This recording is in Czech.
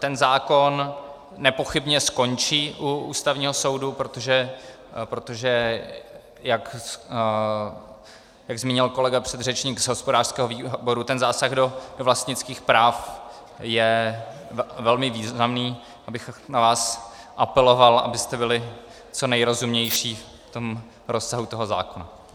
Ten zákon nepochybně skončí u Ústavního soudu, protože jak zmínil kolega předřečník z hospodářského výboru, ten zásah do vlastnických práv je velmi významný, abych na vás apeloval, abyste byli co nejrozumnější v tom rozsahu toho zákona.